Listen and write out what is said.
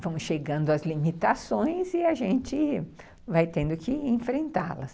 Vão chegando as limitações e a gente vai tendo que enfrentá-las.